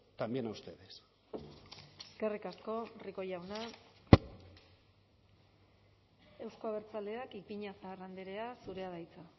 también a ustedes eskerrik asko rico jauna euzko abertzaleak ipiñazar andrea zurea da hitza